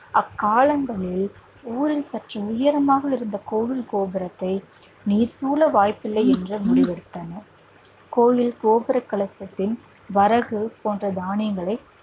அக்காலங்களில் ஊரில் சற்று உயரமாக இருந்த கோவில் கோபுரத்தை நீர் சூழ வாய்ப்பில்லை என்று முடிவெடுத்தனர் கோவில் கோபுர கலசத்தில் வரகு போன்ற தானியங்களை